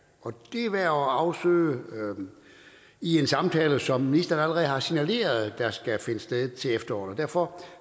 er værd at afsøge i en samtale som ministeren allerede har signaleret skal finde sted til efteråret derfor